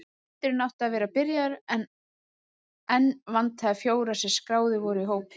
Fundurinn átti að vera byrjaður en enn vantaði fjóra sem skráðir voru í hópinn.